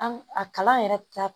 An a kalan yɛrɛ